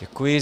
Děkuji.